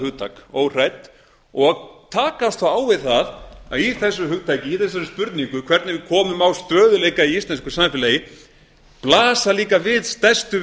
hugtak óhrædd og takast þá á við það að í þessu hugtaki í þessari spurningu hvernig við komum á stöðugleika í íslensku samfélagi blasa líka við stærstu